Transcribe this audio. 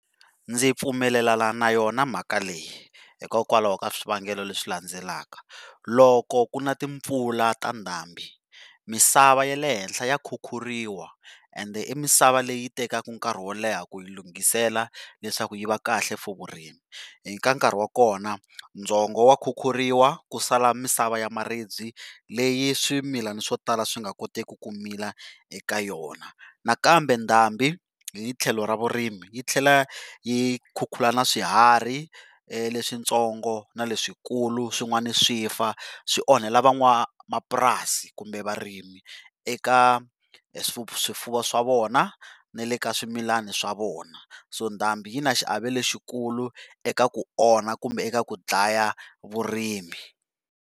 Ndzi pfumelelana na yona mhaka leyi, hikokwalaho ka swivangelo leswi landzelaka loko ku na timpfula ta ndhambi misava ya le henhla ya khukhuriwa and misava leyi tekaka nkarhi wo leha ku yi lungisela leswaku yi va kahle for vurimi. Hi ka nkarhi wa kona ndzhongo wa khukhuriwa ku sala misava ya maribye leyi swimilana swo tala swi nga kotiku ku mila eka yona, nakambe ndhambi hi tlhelo ra vurimi yi tlhela yi khukhura na swihharhi leswintsongo na leswikulu swin'wana swifa swi onhela van'wanamapurasi kumbe varimi eka swifuwo swa vona na le ka swimilani swa vona so ndhambi yi na xiave lexikulu eka ku onha kumbe eka ku dlaya vurimi.